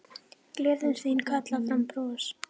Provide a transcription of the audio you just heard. Gleðin þín kallar fram bros.